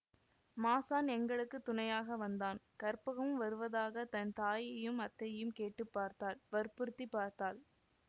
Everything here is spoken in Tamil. மாசான் எங்களுக்கு துணையாக வந்தான் கற்பகமும் வருவதாக தன் தாயையும் அத்தையையும் கேட்டுப் பார்த்தாள் வற்புறுத்திப் பார்த்தாள்